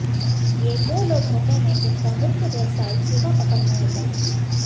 ये वो लोग होते हैं जिनका मुख्य व्यवसाय चूहा पकड़ना होता है